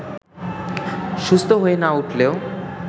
সুস্থ হয়ে না উঠলেও